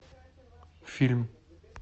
фильм